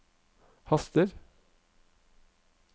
haster